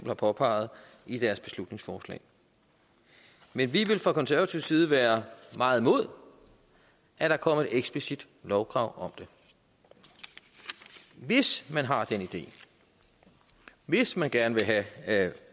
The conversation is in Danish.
har påpeget i deres beslutningsforslag men vi vil fra konservativ side være meget imod at der kommer et eksplicit lovkrav om det hvis man har den idé hvis man gerne vil have